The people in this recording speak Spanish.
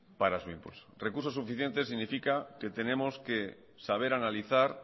para su impulso recursos suficientes significa que tenemos que saber analizar